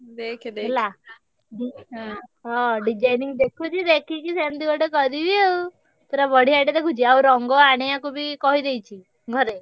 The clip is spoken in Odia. Designing ଦେଖୁଛି ଦେଖିକି ସେମତି ଗୋଟେ କରିବି ଆଉ ପୁରା ବଢିଆ ତେ ଦେଖୁଛି ଆଉ ରଙ୍ଗ ଆଣିବାକୁ ବି କହିଦେଇଛି ଘରେ।